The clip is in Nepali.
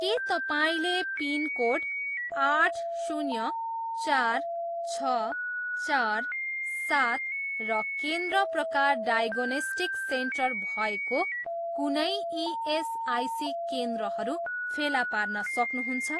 के तपाईँँले पिनकोड आठ शून्य चार छ चार सात र केन्द्र प्रकार डायग्नोस्टिक सेन्टर भएको कुनै इएसआइसी केन्द्रहरू फेला पार्न सक्नुहुन्छ?